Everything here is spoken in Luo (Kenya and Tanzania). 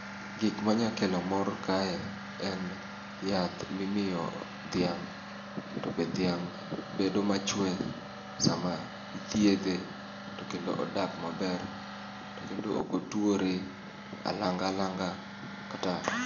Gik manya kelo mor kae en yath mimiyo dhiang' to be dhiang' bedo machwe e sama ithiedhe to kendo odak maber to kendo ok otwore alanga langa kata